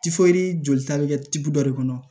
jolita bɛ kɛ tugu dɔ de kɔnɔ